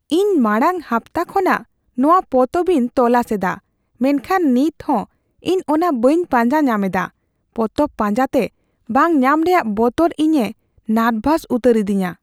ᱤᱧ ᱢᱟᱲᱟᱝ ᱦᱟᱯᱛᱟ ᱠᱷᱚᱱᱟᱜ ᱱᱚᱶᱟ ᱯᱚᱛᱚᱵ ᱤᱧ ᱛᱚᱞᱟᱥ ᱮᱫᱟ ᱢᱮᱱᱠᱷᱟᱱ ᱱᱤᱛᱦᱚᱸ ᱤᱧ ᱚᱱᱟ ᱵᱟᱹᱧ ᱯᱟᱸᱡᱟ ᱧᱟᱢ ᱮᱫᱟ ᱾ ᱯᱚᱛᱚᱵ ᱯᱟᱸᱡᱟᱛᱮ ᱵᱟᱝ ᱧᱟᱢ ᱨᱮᱭᱟᱜ ᱵᱚᱛᱚᱨ ᱤᱧᱮ ᱱᱟᱨᱵᱷᱟᱥ ᱩᱛᱟᱹᱨ ᱤᱫᱤᱧᱟ ᱾